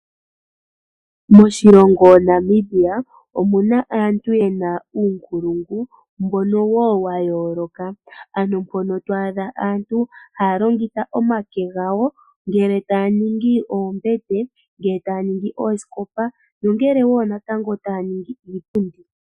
Moshilongo Namibia omuna aantu yena uunkulungu mbono woo wayooloka, ano mpono to adha aantu ha ya longitha omake gawo ngele ta ya ningi oombete, ngele ta ya ningi oosikopa, nongele wo natango taya ningi iipundi.